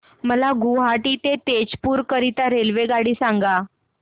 मला गुवाहाटी ते तेजपुर करीता रेल्वेगाडी सांगा